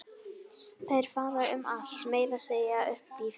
Þeir fara um allt, meira að segja upp í fjall.